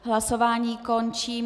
Hlasování končím.